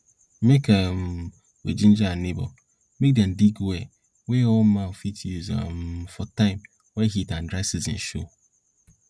make um we ginger our neighbor make dem dig well wey all man fit use um for time wey heat and dry season show